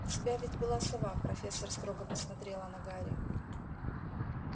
у тебя ведь была сова профессор строго посмотрела на гарри